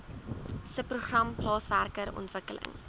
subprogram plaaswerker ontwikkeling